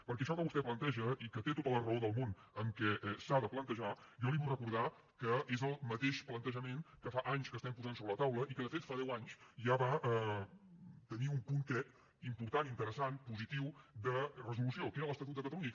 perquè això que vostè planteja i que té tota la raó del món que s’ha de plantejar jo li vull recordar que és el mateix plantejament que fa anys que estem posant sobre la taula i que de fet fa deu anys ja va tenir un punt crec important interessant positiu de resolució que era l’estatut de catalunya